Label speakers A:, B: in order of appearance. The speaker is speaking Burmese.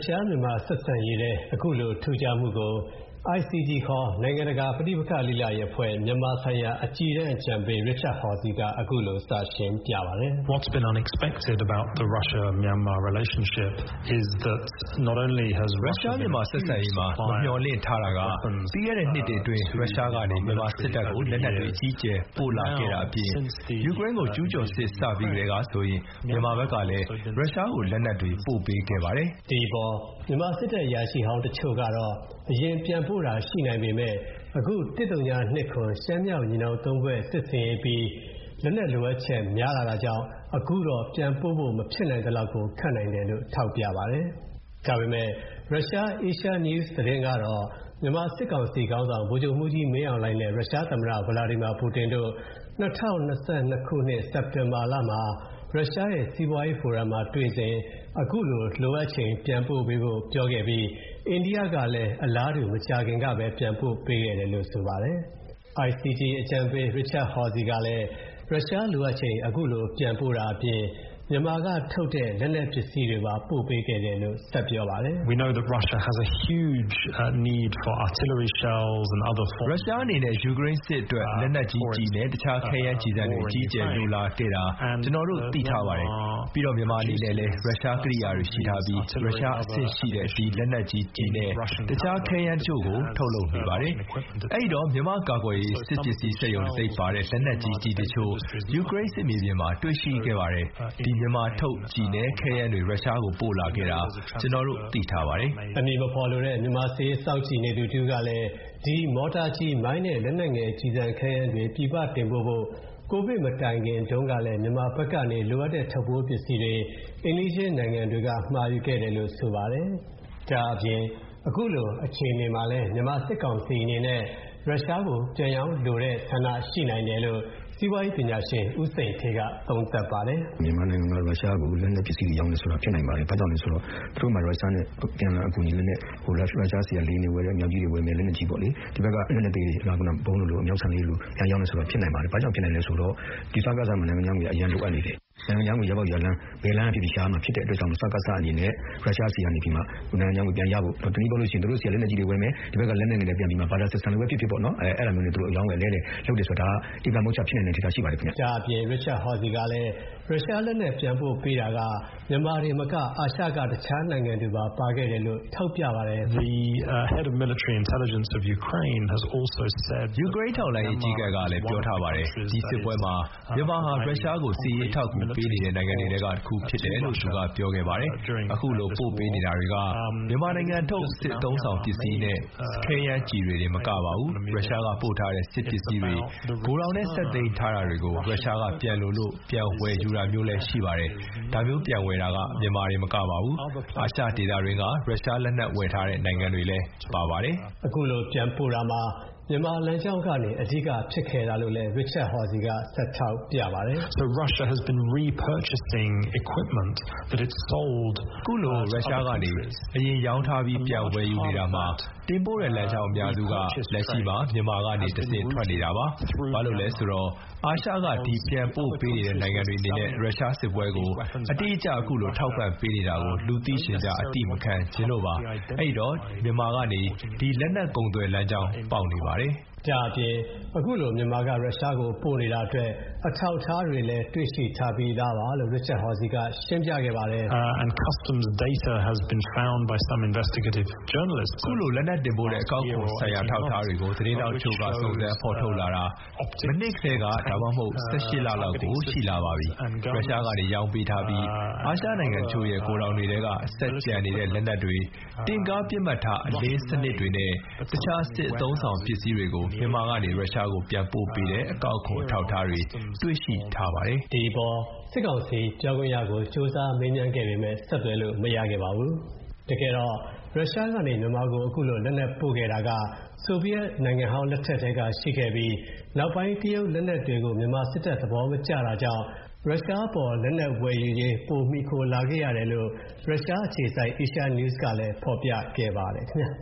A: ရှားမြန်မာဆက်ဆံရေးထဲ အခုလို ထူးခြားမှုကို ICG နိုင်ငံတကာ ပဋိပက္ခလေ့လာရေးအဖွဲ့ မြန်မာဆိုင်ရာ အကြီးတန်း အကြံပေး Richard Horsey က အခုလို စရှင်းပြပါတယ်။ "ရုရှား-မြန်မာ
B: ဆက်ဆံရေးမှာ မျှော်လင့်မထားခဲ့တာက ပြီးခဲ့တဲ့နှစ်တွေအတွင်း ရုရှားကနေ မြန်မာစစ်တပ်ကို လက်နက်တွေ အကြီးအကျယ်ပို့လာခဲ့တာအပြင် ယူကရိန်းကိုကျုးကျော်စစ် စ
A: အပြီးကတည်းကဆိုရင် မြန်မာဘက်ကလည်း ရုရှားကို လက်နက်တွေ ပို့ပေးခဲ့ပါတယ်။" ဒီအပေါ် မြန်မာစစ်တပ် အရာရှိဟောင်းတချို့ကတော့ အရင်ပြန်ပို့တာရှိနိုင်ပေမဲ့ အခု ၁၀၂၇ ရှမ်းမြောက်ညီနောင်သုံးဖွဲ့ စစ်ဆင်ရေးအပြီး လက်နက်လိုအပ်ချက်များလာတာကြောင့် အခုတော့ ပြန်ပို့ဖို့ မဖြစ်နိုင်သလောက်ကို ခက်နိုင်တယ်လို့ ထောက်ပြပါတယ်။ ဒါပေမဲ့ ရုရှား Asia News သတင်းကတော့ မြန်မာစစ်ကောင်စီခေါင်းဆောင် ဗိုလ်ချုပ်မှူးကြီးမင်းအောင်လှိုင်နဲ့ ရုရှားသမ္မတ Vladimir Putin တို့ ၂၀၂၂ ခုနှစ် စက်တင်ဘာမှာ ရရှားရဲ့ စီးပွားရေးဖိုရမ်မှာတွေ့စဉ် အခုလို လိုအပ်ချိန် ပြန်ပို့ပေးဖို့ ပြောခဲ့ပြီး အိန္ဒိယလည်း အလားတူ မကြာခင်ကပဲ ပြန်ပို့ပေးတယ်လို့ ဆိုပါတယ်။ ICG အကြီးတန်းအကြံပေး Richard Horsey ကလည်း ရုရှားလိုအပ်ချိန် အခုလို ပြန်ပို့တာအပြင် မြန်မာထုတ် လက်နက်ပစ္စည်းတွေပါ ပို့ပေးခဲ့တယ်လို့ ဆက်ပြောပါတယ်။ "ရုရှာ
B: းအနေနဲ့ ယူကရိန်းစစ်အတွက် လက်နက်ကြီးကျည်နဲ့ တခြားခဲယမ်းကျည်ဆံတွေ အကြီးအကျယ်လိုလာခဲ့တာ ကျနော်တို့ သိထားပါတယ်။ ပြီးတော့ မြန်မာအနေနဲ့လည်း ရုရှားကရိယာတွေရှိထားပြီး ရုရှားအဆင့်ရှိတဲ့ ဒီ လက်နက်ကြီးကျည်နဲ့ တခြားခဲယမ်းတချို့ကို ထုတ်လုပ်နေပါတယ်။ အဲ့ဒီတော့ မြန်မာကာကွယ်ရေးစစ်ပစ္စည်းစက်ရုံ တံဆိပ်ပါတဲ့ လက်နက်ကြီးကျည်တချို့ယူကရိန်း စစ်မြေပြင်မှာတွေ့ရ
A: ှိခဲ့ပါတယ်။ ဒီ မြန်မာထုတ် ကျည်နဲ့ ခဲယမ်းတွေ ရုရှားကို ပို့လာခဲ့တာ ကျနော်တို့ သိထားပါတယ်။" အမည်မဖော်လိုတဲ့ မြန်မာစစ်ရေးစောင့်ကြည့်နေသူတဦးကလည်း ဒီ မော်တာကျည်၊ မိုင်းနဲ့ လက်နယ်ငယ် ကျည်ဆံခဲယမ်းတွေ ပြည်ပတင်ပို့ဖို့ ကိုဗစ်မတိုင်ခင်က မြန်မာဘက်ကနေ လိုအပ်တဲ့ ထုတ်ပိုးပစ္စည်းတွေ အိမ်နီးချင်းနိုင်ငံတွေက မှာယူခဲ့တယ်လို့ ဆိုပါတယ်။ ဒါ့အပြင် အခုလို အခြေအနေမှာ မြန်မာစစ်ကောင်စီအနေနဲ့ ရုရှားကိုပြန်ရောင်းလိုတဲ့ဆန္ဒရှိနိုင်တယ်လို့ စီးပွါးရေးပညာရှင် ဦးစိန်ဌေးက သုံးသပ်ပါတယ်။ "
B: မြန်မာနိုင်ငံက ရုရှားကို လက်နက်ပစ္စည်းတွေ ရောင်းချတယ်ဆိုတာ ဖြစ်နိုင်ပါတယ်။ ဘာကြောင့်လဲဆိုတော့ သူတို့မှာ ရုရှားနဲ့အပြန်အလှန် လက်နက်အကူညီ- ရုရှားဆီက လေယာဉ်တွေဝယ်မယ်၊ လက်နက် အမြောက်ကြီးတွေဝယ်တယ်၊ လက်နက်ကြီးတွေပါ့လေ။ ဒီဘက်က လက်နက်အသေးတွေ ဗုံးတို့လို၊ အမြောက်ဆံတို့လို ပြန်ရောင်းတယ်ဆိုတာ ဖြစ်နိုင်ပါတယ်။ ဘာကြောင့်ဖြစ်နိုင်လဲဆိုတော့ ဒီစကစမှာ နိုင်ငံခြားငွေက အရမ်းလိုအပ်နေတယ်။ နိုင်ငံခြားငွေ ရပေါက်ရလမ်း ဘယ်လမ်းကဖြစ်ဖြစ် ရှာရမှာဖြစ်တဲ့အတွက်ကြောင့် စကစအနေနဲ့ ရုရှားဆီကနေပြီးတော့မှ နိုင်ငံခြားငွေပြန်ရဖို့၊ တနည်းပြောရလို့ရှိရင် သူတို့ဆီက လက်နက်ကြီးတွေဝယ်မယ်၊ ဒီဘက်က လက်နက်ငယ်တွေ ပြန်ပြီးတော့မှာ Barter systerm လိုပဲဖြစ်ဖြစ်ပေါ့နော်၊ အဲ
A: လိုမျိုးနဲ့ အရောင်းအဝယ် အလဲအလှယ်လုပ်တယ်ဆိုတာက ဒါက ဧကံမုချ ဖြစ်နိုင်တဲ့အနေအထား ရှိပါတယ်ခင်ဗျ။" ဒါ့အပြင် Richard Horsey ကလည်း ရုရှားလက်နက်ပြန်ပို့ပေးတာက မြန်မာကတင်မက အာရှက တခြားနိုင်ငံတွေကပါ ပါခဲ့တယ်လို့ ထောက်ပြပါတယ်။ "ယူကရိန်းထောက်လှ
B: မ်းရေး အကြီးအကဲကလည်း ပြောထားပါတယ်။ ဒီစစ်ပွဲမှာ မြန်မာဟာ ရုရှားကို စစ်ရေးအထောက်အကူပေးနေတဲ့ နိုင်ငံတွေထဲက တစ်ခုဖြစ်တယ်လို့ သူပြောခဲ့ပါတယ်။ အခုလို ပို့ပေးနေတာတွေက မြန်မာနိုင်ငံထုတ် စစ်အသုံးအဆောင်ပစ္စည်းနဲ့ ခဲယမ်းကျည်ဆံတွေတင် မကပါဘူး၊ ရုရှားကနေ ပို့ထားတဲ့ စစ်ပစ္စည်းတွေ ဂိုထောင်ထဲ ဆက်သိမ်းထားတာတွေကို ရုရှားက ပြန်လိုလို့ ပြန်ဝယ်ယူတာမျိုးလည်း ရှိပါတယ်။ ဒါမျိုးပြန်ဝယ်တာက မြန်မာကတင်မကပါဘူး၊ အာရှဒေသတွင်းက ရုရှားလက်နက်ဝယ်ထားတဲ့ နိုင်ငံတွေလည်း
A: ပါပါတယ်။" အခုလို ပြန်ပို့တာမှာ မြန်မာလမ်းကြောင်းကနေ အဓိက ဖြစ်ခဲ့တာလို့လည်း Richard Horsey က ဆက်ထောက်ပြပါတယ်။ "အခုလို ရုရှားကနေ အ
B: ရင်ရောင်းထားပြီး ပြန်ဝယ်ယူနေတာမှာ တင်ပို့တဲ့လမ်းကြောင်း အများစုက လက်ရှိမှာ မြန်မာကနေ တဆင့်ထွက်နေပါတယ်။ ဘာလို့လဲဆိုတော့ အာရှက ဒီပြန်ပို့ပေးနေတဲ့ နိုင်ငံတွေအနေနဲ့ ရုရှားစစ်ပွဲကို အတိအကျ အခုလို ထောက်ပံ့ပေးနေတာကို လူသိရှင်ကြား အသိမခံချင်လို့ပါ။ အဲ့ဒိတ
A: ော့ မြန်မာကနေ ဒီ လက်နက်ကုန်သွယ်လမ်းကြောင်း ပေါက်နေပါတယ်။" ဒါ့အပြင် အခုလို မြန်မာက ရုရှားကို ပို့နေတာအတွက် အထောက်အထားတွေလည်း တွေ့ထားပြီးပြီလို့ Richard Horsey က ရှင်းပြခဲ့ပါတယ်။ "အခု
B: လို လက်နက်တင်ပို့တဲ့ အကောက်ခွန်ဆိုင်ရာ အထောက်အထားတွေကို သတင်းထောက်တချို.က စုံစမ်းဖော်ထုတ်လာတာ မနှစ်ထဲက ၁၈ လ လောက်ကို ရှိလာပါပြီ။ ရုရှားကနေ ရောင်းပေးထားပြီး အာရှနိုင်ငံတချို.ရဲ့ ဂိုထောင်တွေထဲဆက်ကျန်နေတဲ့ လက်နက်တွေ၊ တင့်ကားပစ်မှတ်ထား အလင်းစနစ်တွေနဲ့ တခြားစစ်အသုံးအဆောင်ပစ္စည်းတွေကို မြန်မာကနေ ရုရှားကို ပြန်ပို့ပေးတဲ့ အကောက်ခွန် အထောက်အထားတွေ တွေ့ရှိထားပါတယ်။" ဒီအပေါ်
A: စစ်ကောင်စီပြောခွင့်ရကို ကြိုးစားမေးမြန်းခဲ့ပေမဲ့ ဆက်သွယ်လို့မရခဲ့ပါဘူး။ တကယ်တော့ ရုရှားကနေ မြန်မာကို အခုလို လက်နက်ပို့ခဲ့တာက ဆိုဗီယက်နိုင်ငံဟောင်းလက်ထက်ကတည်းက ရှိခဲ့ပြီး နောက်ပိုင်း တရုတ်လက်နက်တွေကို မြန်မာစစ်တပ်က သဘောမကျတာကြောင့် ရုရှားအပေါ် လက်နက်ဝယ်ယူရေးပိုပြီး မှီခိုလာခဲ့ရတယ်လို့ ရုရှားအခြေစိုက် Asia News ကလည်း ဖော်ပြခဲ့ပါတယ် ခင်ဗျ